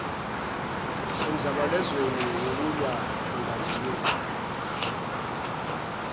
emzabalazweni wokulwa nobandlululo